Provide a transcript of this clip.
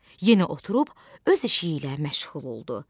Yenə oturub öz işi ilə məşğul oldu.